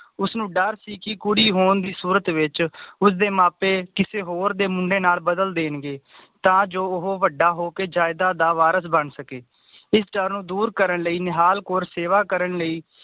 ਉਸਨੂੰ ਦੱਰ ਸੀ ਕਿ ਕੁੜੀ ਹੋਣ ਦੀ ਸੂਰਤ ਵਿਚ ਉਸਦੇ ਮਾਪੇ ਕਿਸੇ ਹੋਰ ਦੇ ਮੁੰਡੇ ਨਾਲ ਬਦਲ ਦੇਣਗੇ ਤਾਂ ਜੋ ਉਹ ਵੱਡਾ ਹੋ ਕੇ ਜਾਇਦਾਦ ਦਾ ਵਾਰਿਸ ਬਣ ਸਕੇ ਇਸ ਡਰ ਨੂੰ ਦੂਰ ਕਰਨ ਲਈ ਨਿਹਾਲ ਕੌਰ ਸੇਵਾ ਕਰਨ ਲਈ